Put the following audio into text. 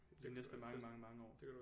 De næste mange mange mange år